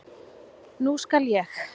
Nú skal ég.